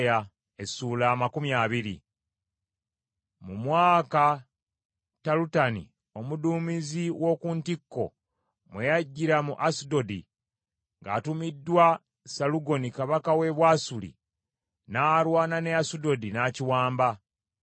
Mu mwaka Talutani omuduumizi w’oku ntikko mwe yajjira mu Asudodi ng’atumiddwa Salugoni kabaka we Bwasuli n’alwana ne Asudodi n’akiwamba;